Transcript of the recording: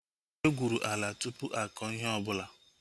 E gwụrụ ala ahu tụpụ akọ ihe ọbụla